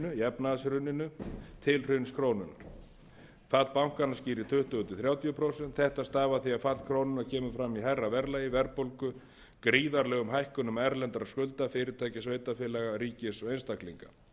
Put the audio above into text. efnahagshruninu til hruns krónunnar fall bankanna skýrir tuttugu til þrjátíu prósent þetta stafar af því að fall krónunnar kemur fram í hærra verðlagi verðbólgu gríðarlegum hækkunum erlendra skulda fyrirtækja sveitarfélaga ríkis og einstaklinga